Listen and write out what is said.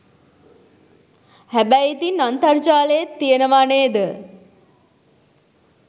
හැබැයි ඉතින් අන්තර්ජාලයෙත් තියනවා නේද